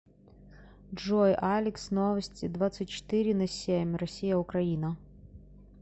джой алекс новости двадцать четыре на семь россия украина